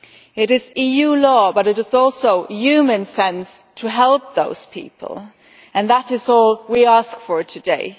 It is EU law but it is also human sense to help those people, and that is all we ask for today.